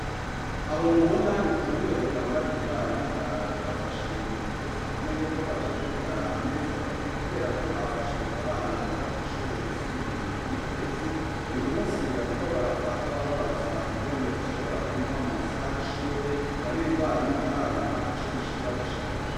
Aho mubona ni ku bunywero bwa mbaririmbanyi harawe hafashwe ingingo zikomeye ko bazobwugara amezi atatu, kubera ko hafashwe abana biga kw'ishure ryisumbuye ryo mu kabezi uyu musi bariko barafatwa babazwa ingene bashobora kunywa mu masaha y'ishure ngo aririmbanyi ntararonka ico yishura gushika, ubu.